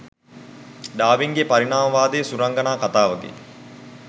ඩාවින්ගේ පරිණාම වාදය සුරංගනා කථාවකි.